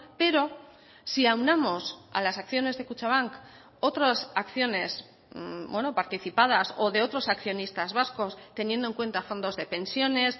pero si aunamos a las acciones de kutxabank otras acciones participadas o de otros accionistas vascos teniendo en cuenta fondos de pensiones